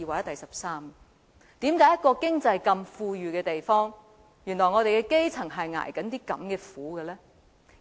為甚麼在一個經濟這麼富裕的地方，我們的基層竟然要如此捱苦？